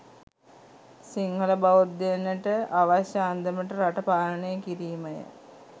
සිංහල බෞද්ධයනට අවශ්‍ය අන්දමට රට පාලනය කිරීම ය